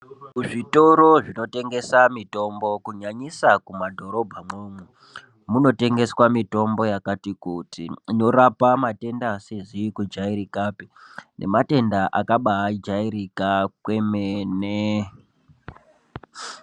Kuzvitoro zvinotengesa mitombo kunyanyisa kumadhorobhamwomwo munotengeswa mitombo yakati kuti inorapa matenda asizi kujairikapi nematenda akabajaika kwemene.